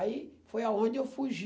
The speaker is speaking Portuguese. Aí foi aonde eu fugi.